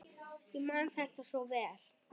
Ég man þetta svo vel.